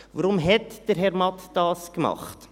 Warum hat Herr Matt das gemacht?